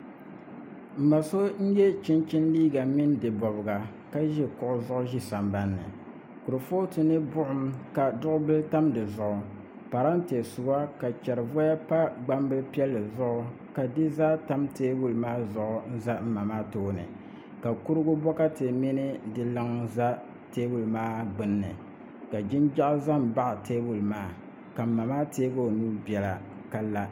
N ma so n yɛ chunchini liiga mini di bobga ka ʒi kuɣu zuɣu ʒi sambanni kurifooti ni buɣum ka binyɛra tam di zuɣu parantɛ suwa ka di pa gbambili piɛli zuɣu ka di zaa tam teebuli maa zuɣu ʒɛ n ma maa tooni ka kurigu bokati mini di luŋ ʒɛ teebuli maa gbunni ka jinjaɣu ʒɛ n baɣa teebuli maa ka n ma maa teegi o nuu bɛla ka la